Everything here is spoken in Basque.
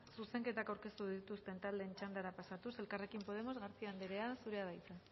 zuzenketak aurkeztu dituzten taldeen txandara pasatuz elkarrekin podemos garcía andrea zurea da hitza